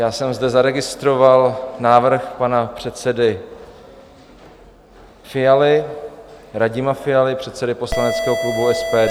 Já jsem zde zaregistroval návrh pana předsedy Fialy, Radima Fialy, předsedy poslaneckého klubu SPD.